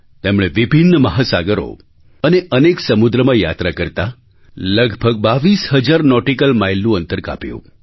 તેમણે વિભિન્ન મહાસાગરો અને અનેક સમુદ્રમાં યાત્રા કરતા લગભગ બાવીસ હજાર નૉટિકલ માઇલનું અંતર કાપ્યું